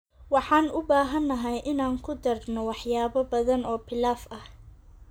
Waxaan u baahanahay inaan ku darno waxyaabo badan oo pilaf ah.